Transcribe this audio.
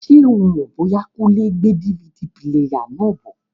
Ṣé o mọ̀ bóyá Kúnlé n gbé DVD píléyà náà bọ̀?